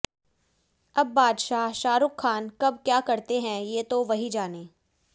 अब बादशाह शाहरुख खान कब क्या करते हैं ये तो वही जानें